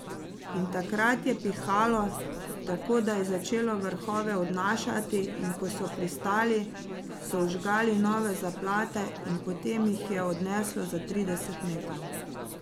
In takrat je pihalo, tako da je začelo vrhove odnašati, in ko so pristali, so vžgali nove zaplate in potem jih je spet odneslo za trideset metrov.